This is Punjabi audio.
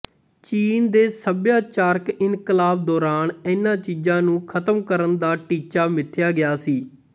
ਚੀਨ ਦੇ ਸੱਭਿਆਚਾਰਕ ਇਨਕਲਾਬ ਦੌਰਾਨ ਇਹਨਾਂ ਚੀਜਾਂ ਨੂੰ ਖਤਮ ਕਰਨ ਦਾ ਟੀਚਾ ਮਿਥਿਆ ਗਿਆ ਸੀ